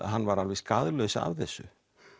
hann var alveg skaðlaus af þessu